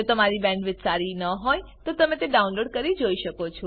જો તમારી પાસે સારી બેન્ડવિડ્થ ન હોય તો તમે વિડીયો ડાઉનલોડ કરીને જોઈ શકો છો